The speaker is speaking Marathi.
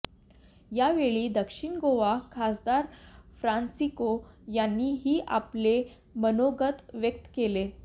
यावेळी दक्षिण गोवा खासदार फ्रान्सिस्को यांनी ही आपले मनोगत व्यक्त केले